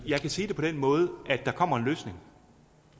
jeg kan sige det på den måde at der kommer en løsning